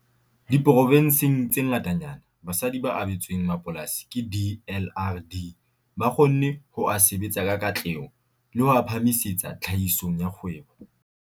Diprovenseng tse ngatanyana, basadi ba abetsweng mapolasi ke DLRD ba kgonne ho a sebetsa ka katleho le ho a phahamisetsa tlhahisong ya kgwebo.